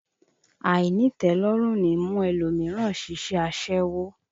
Àìnítẹ̀ẹ́lọ́rùn ní mú ẹlòmíràn ṣiṣẹ́ aṣẹ́wó